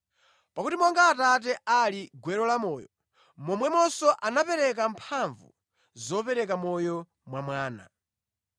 Pakuti monga Atate ali gwero la moyo, momwemonso anapereka mphamvu zopereka moyo mwa Mwana.